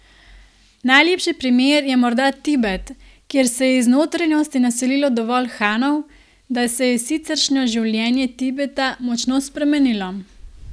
Najlepši primer je morda Tibet, kjer se je iz notranjosti naselilo dovolj Hanov, da se je siceršnjo življenje Tibeta močno spremenilo.